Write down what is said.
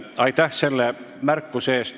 Aitäh selle märkuse eest!